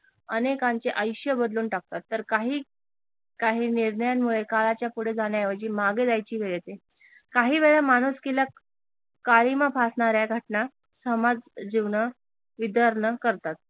अनेकांचे आयुष्य बदलून टाकतात तर काही काही निर्णयांमुळे काळाच्या पुढे जाण्याऐवजी मागे जायची वेळ येते काही वेळा माणुसकीला काळिमा फासणाऱ्या घटना समाज जीवन करतात.